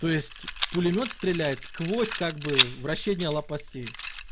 то есть пулемёт стреляет сквозь как бы вращения лопастей